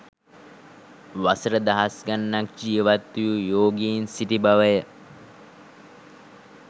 වසර දහස් ගණනක් ජීවත් වූ යෝගීන් සිටි බවය